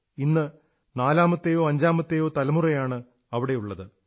ഇന്ന് നാലാമത്തെയോ അഞ്ചാമത്തെയോ തലമുറയാണ് അവിടെയുള്ളത്